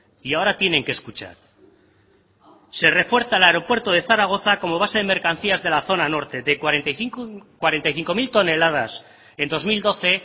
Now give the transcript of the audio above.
y ahora tienen que escuchar se refuerza el aeropuerto de zaragoza como base de mercancías de la zona norte de cuarenta y cinco mil toneladas en dos mil doce